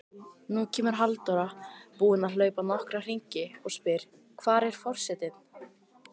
Nú kemur Halldóra, búin að hlaupa nokkra hringi, og spyr: Hvar er forsetinn?